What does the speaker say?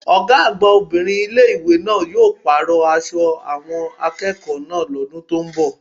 Ọ̀gá àgbà obìnrin ilé ìwé náà yóò pàrọ̀ aṣọ àwọn akẹ́kọ̀ọ́ náà lọ́dún tó ń bò